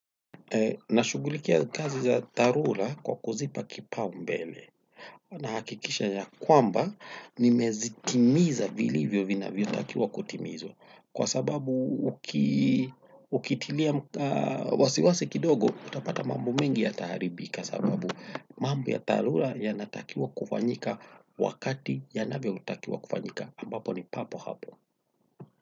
Nashughulikia kazi za dharura kwa kuzipa kipaumbele nahakikisha ya kwamba nimezitimiza vilivyo vinavyotakiwa kutimizwa kwa sababu ukitilia wasiwasi kidogo utapata mambo mingi yataharibika sababu mambo ya dharura yanatakiwa kufanyika wakati yanavyotakiwa kufanyika ambapo ni papo hapo.